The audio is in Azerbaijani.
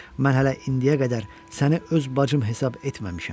Mən hələ indiyə qədər səni öz bacım hesab etməmişəm.